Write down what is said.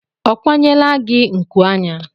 Ọ kwanyela gi nku anya?